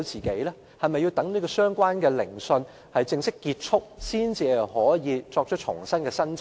是否要待相關聆訊正式結束後，才可以重新提出申請？